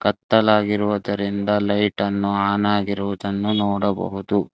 ಕತ್ತಲಾಗಿರುವುದರಿಂದ ಲೈಟನ್ನು ಅನ್ ಆಗಿರುವುದನ್ನು ನೋಡಬಹುದು.